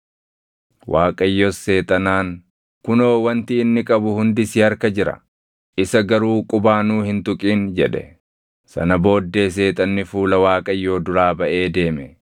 Waaqayyos Seexanaan, “Kunoo, wanti inni qabu hundi si harka jira; isa garuu qubaanuu hin tuqin” jedhe. Sana booddee Seexanni fuula Waaqayyoo duraa baʼee deeme.